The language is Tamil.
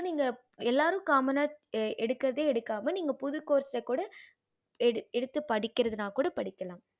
நீங்க எல்லாரு common எடுக்கறதே எடுக்காம நீங்க புதுசா course கூட எடுத்து படிகரதுனா கூட படிக்காலாம்